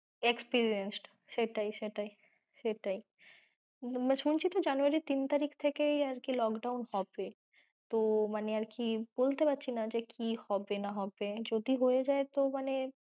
Experienced সেটাই সেটাই, সেটাই। শুনছি তো January র তিন তারিখ থেকে lockdown হবে তো মানে আরকি বলতে পারছিনা যে কী হবে না হবে যদি হয়ে যায় তো মানে